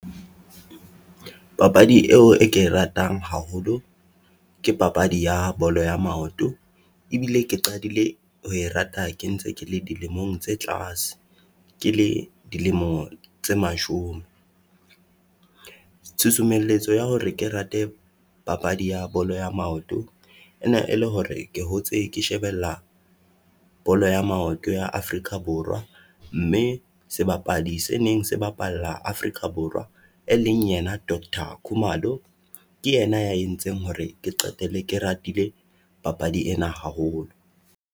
Papadi eo e ke ratang haholo ke papadi ya bolo ya maoto, ebile ke qadile ho rata ke ntse ke le dilemong tse tlase, ke le dilemo tse mashome. Tshusumelletso ya hore ke rate papadi ya bolo ya maoto, e ne e le hore ke hotse ke shebella bolo ya maoto ya Afrika Borwa. Mme sebapadi se neng se bapalla Afrika Borwa e leng yena Doctor Khumalo, ke yena ya entseng hore ke qetelle ke ratile papadi ena haholo.